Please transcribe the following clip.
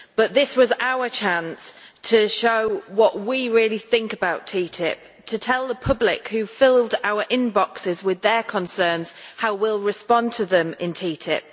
This was our chance to show what we really think about TTIP, and to tell the public who filled our inboxes with their concerns how we will respond to them in TTIP.